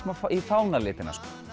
í fánalitina